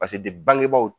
bangebaw